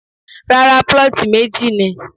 Rárá, plot meji ni.